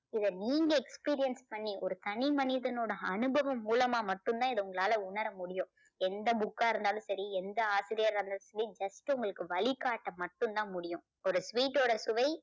இதை நீங்க experience பண்ணி ஒரு தனி மனிதனோட அனுபவம் மூலமா மட்டும்தான் இதை உங்களால உணர முடியும். எந்த book ஆ இருந்தாலும் சரி எந்த ஆசிரியர் இருந்தாலும் சரி just உங்களுக்கு வழி காட்ட மட்டும் தான் முடியும். ஒரு sweet ஓட சுவை